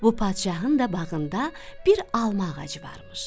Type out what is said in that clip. Bu padşahın da bağında bir alma ağacı varmış.